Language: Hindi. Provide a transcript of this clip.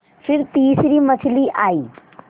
फिर तीसरी मछली आई